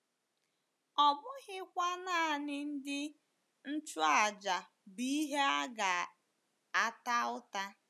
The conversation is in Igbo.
Ọ bụghịkwa nanị ndị nchụàjà bụ ihe a ga-ata ụta.